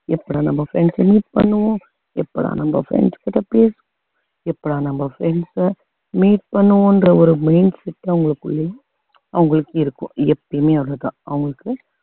எப்படா நம்ம friends அ meet பண்ணுவோம் எப்படா நம்ம friends கிட்ட பேசுவோம் எப்படா நம்ம friends அ meet பண்ணுவோம்ன்ற ஒரு mindset அவங்களுக்குள்ளயும் அவங்களுக்கு இருக்கும் எப்பையுமே அதுதான் அவங்களுக்கு